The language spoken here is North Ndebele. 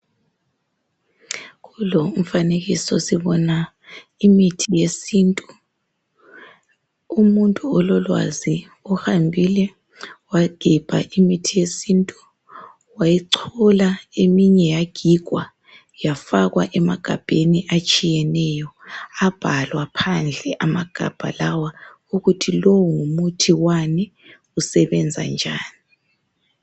Kulo umfanekiso sibona imithi yesintu. Umuntu ololwazi uhambile wagebha imithi yesintu. Wayichola. Eminye yagigwa. Yafakwa emagabheni atshiyeneyo. Abhalwa phandle amagabha lawa. Ukuthi lowu ngumuthi wani. Usebenza njani.